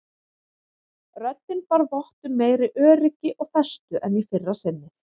Röddin bar vott um meiri öryggi og festu en í fyrra sinnið.